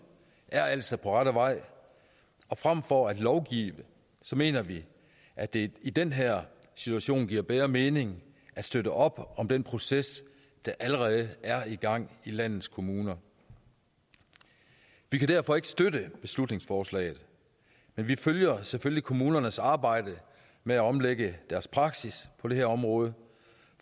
er altså på rette vej og frem for at lovgive mener vi at det i den her situation giver bedre mening at støtte op om den proces der allerede er i gang i landets kommuner vi kan derfor ikke støtte beslutningsforslaget men vi følger selvfølgelig kommunernes arbejde med at omlægge deres praksis på det her område